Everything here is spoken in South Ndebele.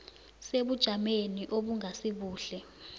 sebujameni obungasi buhle